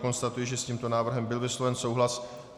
Konstatuji, že s tímto návrhem byl vysloven souhlas.